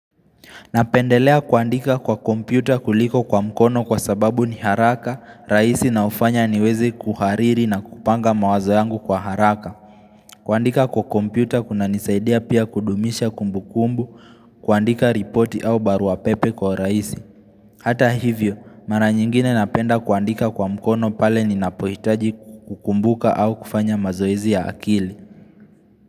Napendelea kuandika kwa kompyuta kuliko kwa mkono kwa sababu ni haraka, rahisi na hufanya niweze kuhariri na kupanga mawazo yangu kwa haraka. Kuandika kwa kompyuta kunanisaidia pia kudumisha kumbukumbu, kuandika ripoti au baruapepe kwa urahisi. Hata hivyo, mara nyingine napenda kuandika kwa mkono pale ninapohitaji kukumbuka au kufanya mazoezi ya akili.